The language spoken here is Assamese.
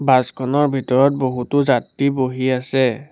বাছ খনৰ ভিতৰত বহুতো যাত্ৰী বহি আছে।